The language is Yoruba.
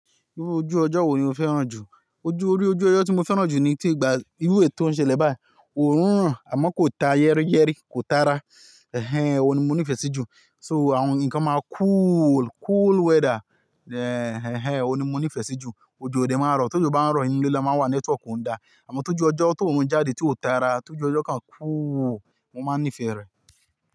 Irú ojú ọjọ́ wo ni o fẹ́ràn jù? Ojú, iru ojú ọjọ́ tí mo fẹ́ràn jù ni tí ìgbà irú èyi to ń ṣele bayii, òórùn n ràn àmọ́ kò ta yẹ́rìyẹ́rì, kò tara, ẹhẹ́n, òun ni mo nífẹ̀ẹ́ sí jù. So àwọn nǹkan máa cool, cool weather, ẹhẹ́n, òun ni mo nífẹ̀ẹ́ sí jù. Ojo ò de máa ń rọ̀, tójo bá ń rọ̀, inú ilé la máa ń wà, network o n da. Àmọ́ tójú ọjọ́ tó òorun jáde tí ò tara, tójú ọjọ́ kan cool, mo máa ń nífẹ̀ẹ́ rẹ̀